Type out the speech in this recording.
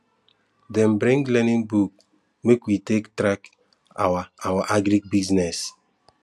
dem bring learning book make we take track our our agric business